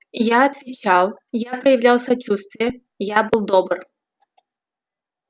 я отвечал я проявлял сочувствие я был добр